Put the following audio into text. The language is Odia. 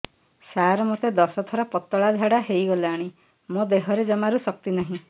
ସାର ମୋତେ ଦଶ ଥର ପତଳା ଝାଡା ହେଇଗଲାଣି ମୋ ଦେହରେ ଜମାରୁ ଶକ୍ତି ନାହିଁ